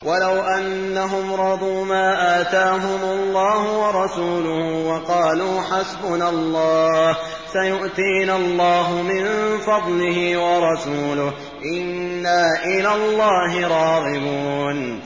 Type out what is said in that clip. وَلَوْ أَنَّهُمْ رَضُوا مَا آتَاهُمُ اللَّهُ وَرَسُولُهُ وَقَالُوا حَسْبُنَا اللَّهُ سَيُؤْتِينَا اللَّهُ مِن فَضْلِهِ وَرَسُولُهُ إِنَّا إِلَى اللَّهِ رَاغِبُونَ